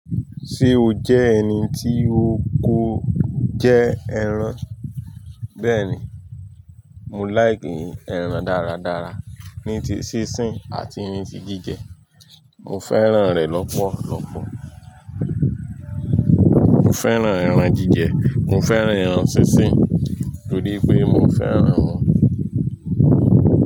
Ṣe o jẹ ẹni ti o ko jẹ ẹran? Bẹẹni, mo like ẹran daradara, nítì sísin ati nítì jije, mo fẹ́ràn rẹ̀ lọpọlọpọ. Mo fẹ́ràn ẹran jije, mo fẹ́ràn ẹran sín sín, torí pé mo fẹ́ ẹran.